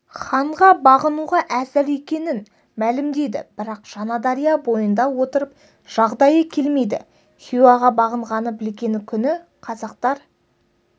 ханға бағынуға әзір екенін мәлімдейді бірақ жаңадария бойында отырып жағдайы келмейді хиуаға бағынғанын білген күні қазақтар